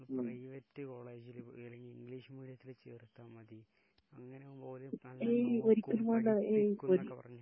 Private കോളേജില് എവിടേങ്കിലും English മീഡിയത്തിൽ ചേർത്താൽ മതി, അങ്ങനെയാകുമ്പോ ഓര് നല്ലോണം നോക്കും പഠിപ്പിക്കും എന്നൊക്കെ പറഞ്ഞ്.